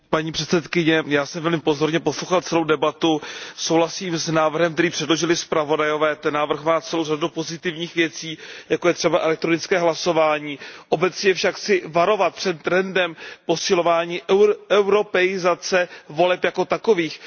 Paní předsedající, já jsem tady pozorně poslouchal celou debatu, souhlasím s návrhem, který předložili zpravodajové, ten návrh má celou řadu pozitivních věcí, jako je třeba elektronické hlasování. Obecně však chci varovat před trendem posilování evropského rozměru voleb jako takových.